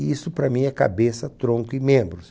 E isso para mim é cabeça, tronco e membros.